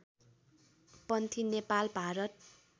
Panthi Nepal Bharat